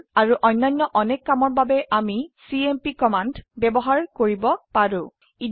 এইটোৰ আৰু অন্যান্য অনেক কামৰ বাবে আমিcmp কমান্ড ব্যবহাৰ কৰিন পাৰো